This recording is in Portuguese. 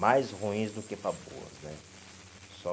Mais ruins do que para boas né. Só